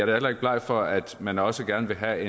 heller ikke bleg for at at man også gerne vil have